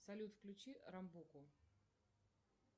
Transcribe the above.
салют включи рамбуку